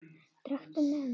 Drekktu með mér!